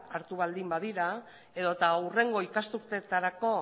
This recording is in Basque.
hartu baldin badira edota hurrengo ikasturteetarako